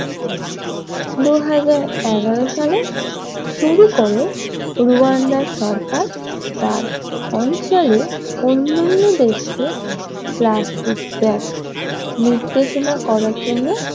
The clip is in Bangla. দুই হাজার এগারো সালে শুরু করে রুয়ান্দা এর সরকার তার অঞ্চলে অন্যান্য দেশকে প্লাস্টিক ব্যাগ নির্দেশনা করার জন্য